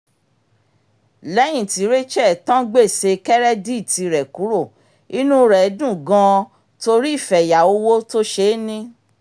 lẹ́yìn tí rachel tán gbèsè kẹ́rẹ́díìtì rẹ̀ kúrò inú rẹ̀ dùn gan-an torí ìfẹ̀yà owó tó ṣeé ní